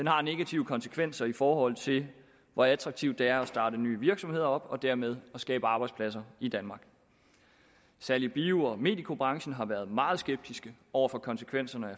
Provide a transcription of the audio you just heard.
har negative konsekvenser i forhold til hvor attraktivt det er at starte nye virksomheder op og dermed at skabe arbejdspladser i danmark særlig bio og medicobranchen har været meget skeptisk over for konsekvenserne